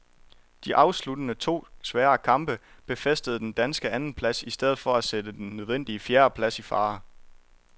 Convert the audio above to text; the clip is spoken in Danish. De afsluttende to svære kamp befæstede den danske andenplads i stedet for at sætte den nødvendige fjerdeplads i fare.